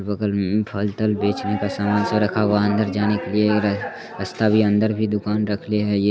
और बगल मे फलतल बेचने का सामान सब रखा हुआ है। अंदर जाने के लिए ये रास्ता भी अंदर भी दुकान रख लिया है ये।